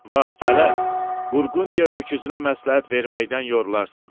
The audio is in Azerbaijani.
Vaxt gələr, Burqundiya öküzünə məsləhət verməkdən yorulursan.